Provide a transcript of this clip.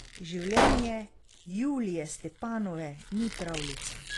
Življenje Julije Stepanove ni pravljica.